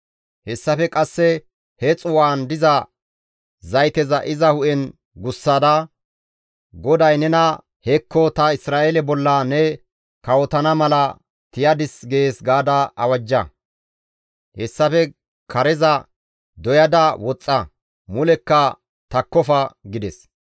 Hessafe qasse he xuu7aan diza zayteza iza hu7en gussada, ‹GODAY nena, Hekko ta Isra7eele bolla ne kawotana mala tiyadis› gees gaada awajja; hessafe kareza doyada woxxa; mulekka takkofa» gides.